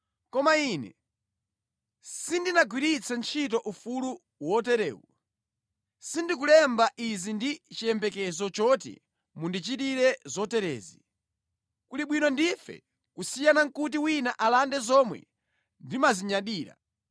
Koma ine sindinagwiritse ntchito ufulu woterewu. Sindikulemba izi ndi chiyembekezo choti mundichitire zoterezi. Kuli bwino ndife kusiyana nʼkuti wina alande zomwe ndimazinyadira.